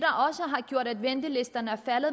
har gjort at ventelisterne er faldet